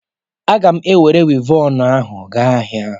A gam enwere Wivọnụ ahu gaa ahia